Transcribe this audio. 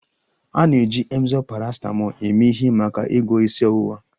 A na-eji Emzor paracetamol eme ihe maka ịgwọ isi ọwụwa